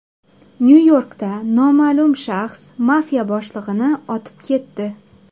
Nyu-Yorkda noma’lum shaxs mafiya boshlig‘ini otib ketdi.